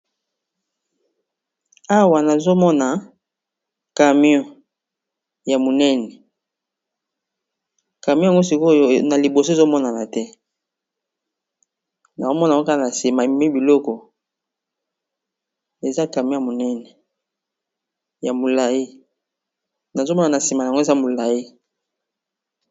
Awa nazomona camion ya munene camion oya sikoyo naliboso ezomonanate naoma kaka nasima ememi biloko eza camion ya munene yamulayi nazomona nasimanango ezayamulayi